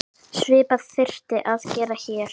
Svipað þyrfti að gera hér.